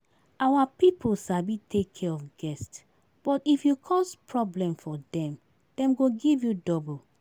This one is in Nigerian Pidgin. Our people sabi take care of guest but if you cause problem for dem, dem go give you double